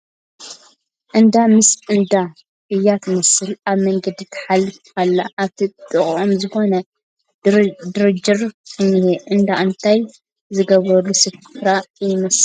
ኣዳ ምስ ወዳ እያ ትመስል ኣብ መንገዲ ትሓልፍ ኣላ ኣብቲ ጥቖኦም ዝኾነ ድርጅር እንሄ ፡ እንዳ እንታይ ዝግበረሉ ስፍራ ይመስል ?